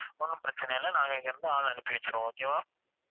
ஒண்ணும் பிரச்சனை இல்ல நாங்க இங்க இருந்து ஆள் அனுப்பி வச்சிடுவோம் okay வா